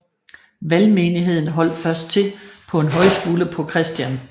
Valgmenigheden holdt først til på en højskole på Chr